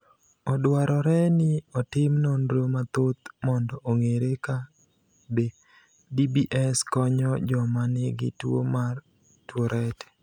Odwarore ni otim nonro mathoth mondo ong’ere ka be DBS konyo joma nigi tuwo mar Tourette.